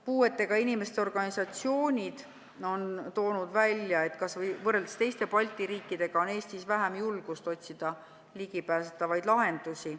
Puuetega inimeste organisatsioonid on toonud välja, et kas või teiste Balti riikidega võrreldes on Eestis vähem julgust otsida ligipääsetavaid lahendusi.